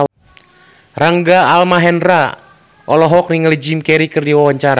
Rangga Almahendra olohok ningali Jim Carey keur diwawancara